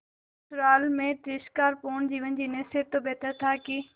ससुराल में तिरस्कार पूर्ण जीवन जीने से तो बेहतर था कि